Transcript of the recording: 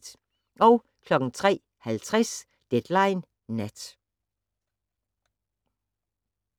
03:50: Deadline Nat